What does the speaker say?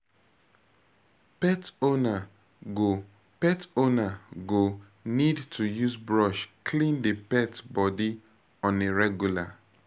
Pet owner go Pet owner go need to use brush clean di pet body on a regular